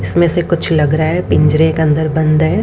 इसमें से कुछ लग रहा है पिंजरे के अंदर बंद है।